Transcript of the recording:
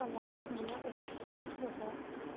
комар меня укусил за